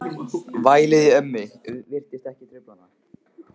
Vælið í ömmu virtist ekki trufla hann.